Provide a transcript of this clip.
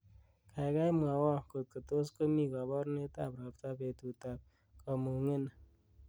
gaigai mwowon kotko tos komi koborunrt ab ropta betut ab komung'eni